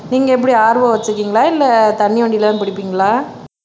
நீங்க எப்படி RO வச்சிருக்கீங்களா இல்ல தண்ணி வண்டியில தான் புடிப்பீங்களா